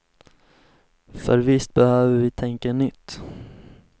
För visst behöver vi tänka nytt.